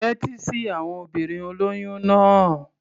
Tẹ́tí sí àwon obìnrin olóyún náà.